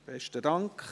Besten Dank.